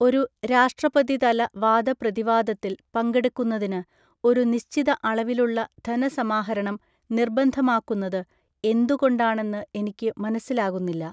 ഒരു രാഷ്ട്രപതിതല വാദപ്രതിവാദത്തില്‍ പങ്കെടുക്കുന്നതിന്, ഒരു നിശ്ചിത അളവിലുള്ള ധനസമാഹരണം നിർബന്ധമാക്കുന്നത് എന്തുകൊണ്ടാണെന്ന് എനിക്ക് മനസ്സിലാകുന്നില്ല.